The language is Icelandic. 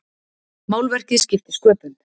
Málverkið skipti sköpum.